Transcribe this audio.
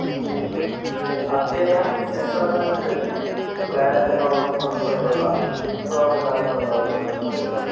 അദ്ദേഹം സ്വിസർലൻ്റിലെത്തി പ്ളേഖനോഫ് ഉൾപ്പെടെയുള്ള വിപ്ലവകാരികളുമായി ബന്ധപ്പെട്ടു.